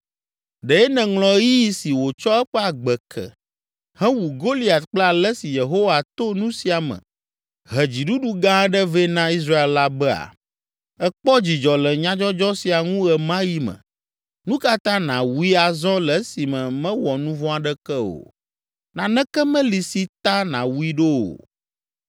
Ɖe nèŋlɔ ɣeyiɣi si wòtsɔ eƒe agbe ke, hewu Goliat kple ale si Yehowa to nu sia me he dziɖuɖu gã aɖe vɛ na Israel la bea? Èkpɔ dzidzɔ le nyadzɔdzɔ sia ŋu ɣe ma ɣi me, nu ka ta nàwui azɔ le esime mewɔ nu vɔ̃ aɖeke o? Naneke meli si ta nàwui ɖo o.”